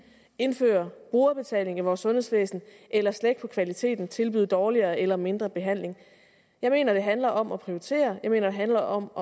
indføre brugerbetaling i vores sundhedsvæsen eller slække på kvaliteten tilbyde dårligere eller mindre behandling jeg mener det handler om at prioritere jeg mener det handler om